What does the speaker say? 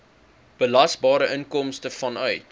belasbare inkomste vanuit